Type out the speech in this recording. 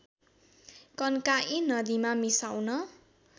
कन्काई नदीमा मिसाउन